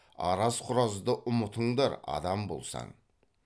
араз құразды ұмытыңдар адам болсаң